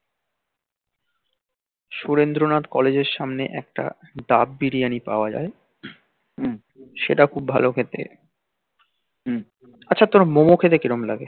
surendra nath college এর সামনে একটা দাব বিরিয়ানি পাওয়া যাই সেটা খুব ভাল খেতে আছো তোর মোমো খেতে কেমন লাগে?